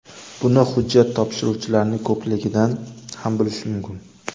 Buni hujjat topshiruvchilarning ko‘pligidan ham bilish mumkin”.